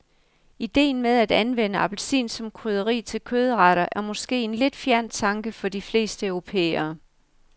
Idéen med at anvende appelsin som krydderi til kødretter er måske en lidt fjern tanke for de fleste europæere.